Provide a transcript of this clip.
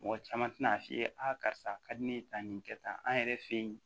Mɔgɔ caman tɛna'a f'i ye a karisa a ka di ne ye tan nin kɛ tan an yɛrɛ fɛ yen